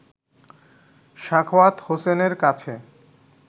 সাখাওয়াত হোসেনের কাছে